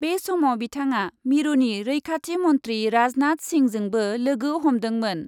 बे समाव बिथाङा मिरुनि रैखाथि मन्थ्रि राजनाथ सिंहजोंबो लोगो हमदोंमोन।